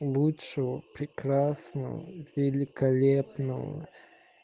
лучшего прекрасного великолепного